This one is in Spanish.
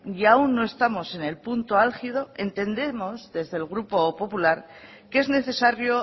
y aún no estamos en el punto álgido entendemos desde el grupo popular que es necesario